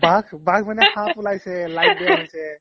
বাঘ বাঘ মানে সাপ ওলাইছে live দেখাইছে